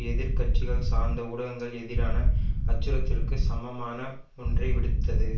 எதிர் கட்சிகள் சார்ந்த ஊடகங்கள் எதிரான அச்சுறுத்தலுக்கு சமமான ஒன்றை விடுத்தது